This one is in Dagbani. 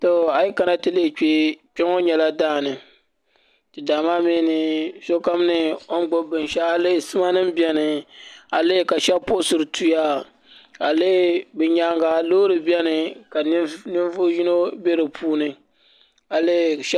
Kpɛ ŋo nyɛla daani daa maa mii ni sokam ni o ni gbubi binshaɣu a yi lihi sima nim biɛni ka shab puɣusiri tuya a lihi bi nyaanga loori biɛni ka ninvuɣu yino bɛ di puuni a lihi